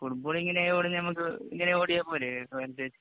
ഫുട്ബോളിനമ്മക്ക് ഇങ്ങനെ ഓടിയാ പോരെ.